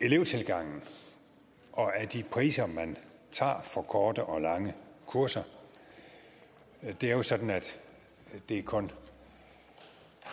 elevtilgangen og af de priser man tager for korte og lange kurser det er jo sådan at det kun